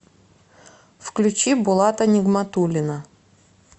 включи булата нигматуллина